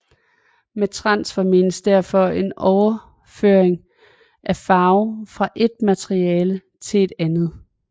Med transfer menes derfor en overføring af farve fra et materiale til et andet